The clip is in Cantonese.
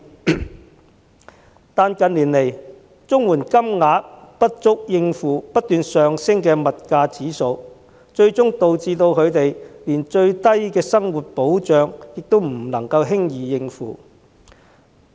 然而，近年來，綜援金額不足以應付不斷上升的物價，最終導致他們連最低的生活需要也不能夠輕易應付。